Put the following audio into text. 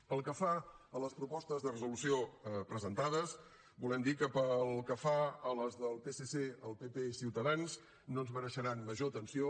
pel que fa a les propostes de resolució presentades volem dir que pel que fa a les del psc el pp i ciutadans no ens mereixeran major atenció